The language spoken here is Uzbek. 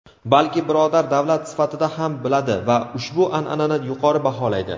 balki birodar davlat sifatida ham biladi va "ushbu an’anani yuqori baholaydi".